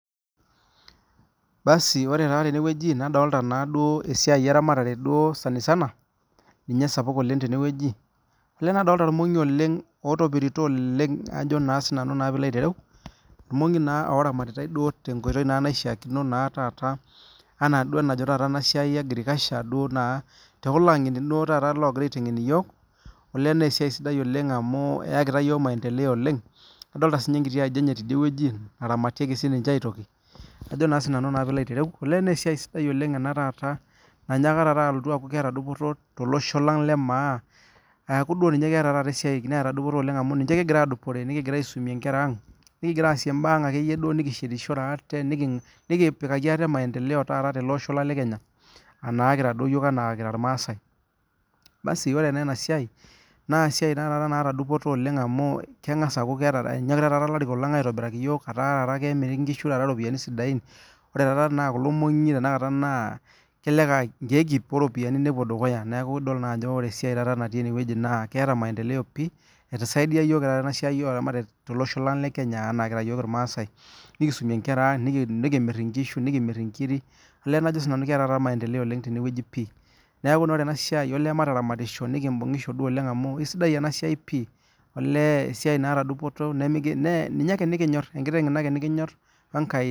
Ore taa tenewueji nadolita esiai eramatare sanisana nadolita irmongi otopirito oleng irmongi oramatitai tenkoitoi naishaa ena enajo ena siai ee agriculture tekulo ang'eni loo gira aiteng'en iyiok naa esiai sidai amu eyakita iyiok maendeleo oleng kadolita sininye enkiti aji enye tidie naramatieki sininye aitoki naa esiai sidai ena nanyaaka aku keeta dupoto tele Osho lang lee maa keeta dupoto oleng amu kigira aisumie Nkera ang nikigira asie mbaa akeyie nikishetishire atee nikipikaki ate maendeleo taata tele Osho lang lee Kenya kira irmaasai ore nA enasiai naa esiai naata dupoto amu kenyokita taata elarikok lang aitobiraki iyiok etaa kemiri ropiani sidain ore ena kulo moongi tanakata naa kelelek aa nkeek ip oropiani nelo dukuya neeku edol Ajo ore esiai natii ene naa ketaa maendeleo pii esaidia taata tolosho lee Kenya kira maasai nikidumie Nkera ang nikimir enkiri naa ketaa maendeleo oleng tenewueji pii nee ore enasiai emataramatsho amu kisidai ena siai piii esiai nataa dupoto enkiteg eno ake nikinyor wee enkai